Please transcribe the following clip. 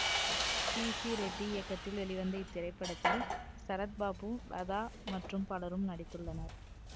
B C Reddy இயக்கத்தில் வெளிவந்த இத்திரைப்படத்தில் சரத்பாபு லதா மற்றும் பலரும் நடித்துள்ளனர்